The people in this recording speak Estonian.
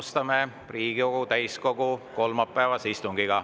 Alustame Riigikogu täiskogu kolmapäevast istungit.